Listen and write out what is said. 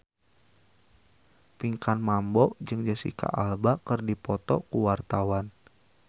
Pinkan Mambo jeung Jesicca Alba keur dipoto ku wartawan